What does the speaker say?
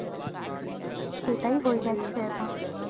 এটাই হয়ে